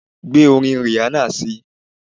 Gbé orin Rihanna síi